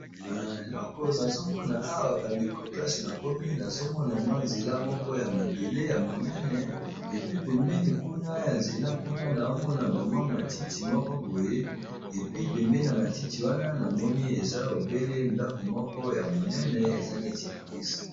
Eloko nazomona awa ba ndeko place na komi nazomona mwa nzela moko ya mabele ya monene, epi pembeni kuna ya nzela kuna naomona ba mwa matiti moko boye epi pembeni ya matiti wana namoni eza ebele ndako moko ya monene eza neti ya eglize.